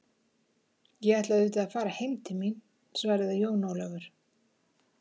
Ég ætla auðvitað að fara heim til mín, svaraði Jón Ólafur.